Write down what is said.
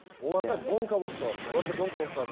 оларда гонка басталады оларда гонка басталады